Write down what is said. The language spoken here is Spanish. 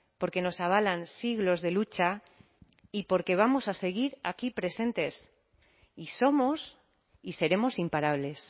porque nos avalan siglos de lucha y porque vamos a seguir aquí presentes y somos y seremos imparables